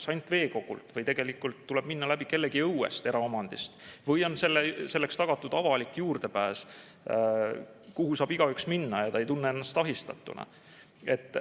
Kas ainult veekogult või tegelikult tuleb minna läbi kellegi õuest, eraomandist, või on selleks tagatud avalik juurdepääs, nii et igaüks saab minna ega tunne ennast ahistatuna?